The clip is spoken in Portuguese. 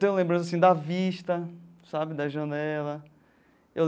Tenho lembrança assim da vista sabe, da janela.